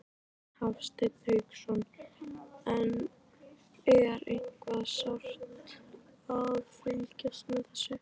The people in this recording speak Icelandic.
Hafsteinn Hauksson: En er eitthvað sárt að fylgjast með þessu?